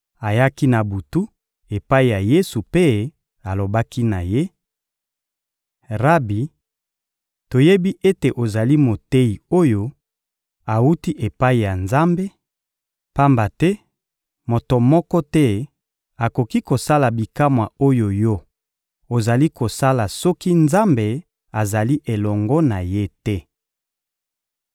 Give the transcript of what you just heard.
Ayaki na butu epai ya Yesu mpe alobaki na Ye: — Rabi, toyebi ete ozali Moteyi oyo awuti epai ya Nzambe, pamba te moto moko te akoki kosala bikamwa oyo Yo ozali kosala soki Nzambe azali elongo na ye te.